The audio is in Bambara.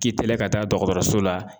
K'i teliya ka taa dɔgɔtɔrɔso la